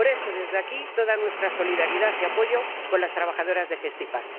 Por eso, desde aquí, toda nuestra solidaridad y apoyo con las trabajadoras de Gestipack.